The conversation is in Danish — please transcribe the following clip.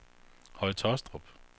Høje Tåstrup